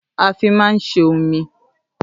À fi mà ń sé òmí